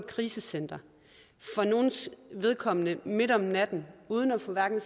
krisecenter for nogles vedkommende midt om natten uden at få hverken